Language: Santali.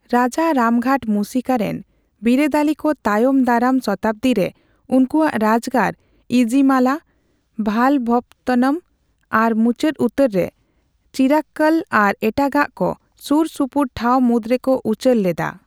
ᱨᱟᱡᱟ ᱨᱟᱢᱜᱷᱟᱴ ᱢᱩᱥᱤᱠᱟ ᱨᱮᱱ ᱵᱤᱨᱟᱹᱫᱟᱹᱞᱤᱠᱚ ᱛᱟᱭᱚᱢ ᱫᱟᱨᱟᱢ ᱥᱚᱛᱟᱵᱽᱫᱤ ᱨᱮ ᱩᱱᱠᱩᱣᱟᱜ ᱨᱟᱡᱽᱜᱟᱲ ᱤᱡᱤᱢᱟᱞᱟ, ᱵᱷᱟᱞᱵᱷᱚᱯᱚᱛᱛᱱᱚᱢ ᱟᱨ ᱢᱩᱪᱟᱹᱫ ᱩᱛᱟᱹᱨ ᱨᱮ ᱪᱤᱨᱟᱠᱠᱚᱞ ᱟᱨ ᱮᱴᱟᱜᱟᱜ ᱠᱚ ᱥᱩᱨ ᱥᱩᱯᱩᱨ ᱴᱷᱟᱣ ᱢᱩᱫᱽᱨᱮᱠᱚ ᱩᱪᱟᱹᱲ ᱞᱮᱫᱟ ᱾